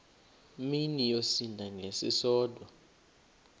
mini yosinda ngesisodwa